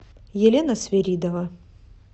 елена свиридова